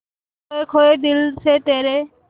खोए खोए दिल से तेरे